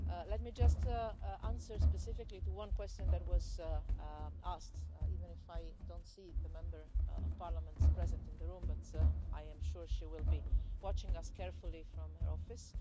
Let me just answer specifically one question that was asked, even if I don't see the Member of Parliament present in the room but I am sure that she will be watching us carefully from her office.